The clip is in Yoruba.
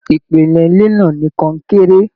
Ìpìlẹ ilé náà ní konkere.